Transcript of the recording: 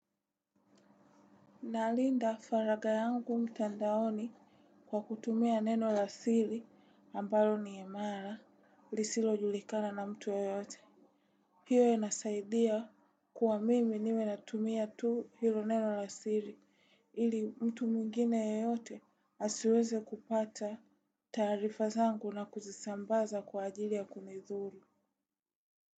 Nalinda faraga yangu mtandaoni kwa kutumia neno la siri ambalo ni imara lisilojulikana na mtu yoyote. Hiyo inasaidia kuwa mimi niwe natumia tu hilo neno la siri ili mtu mwingine yeyote asiweze kupata taarifa zangu na kuzisambaza kwa ajili ya kunidhuri.